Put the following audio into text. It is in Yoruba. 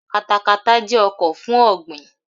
Katakata jẹ́ ọkọ̀ fún ọ̀ọ̀gbìn.